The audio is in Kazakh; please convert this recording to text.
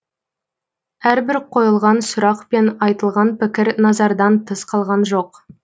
әрбір қойылған сұрақ пен айтылған пікір назардан тыс қалған жоқ